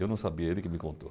Eu não sabia, ele que me contou.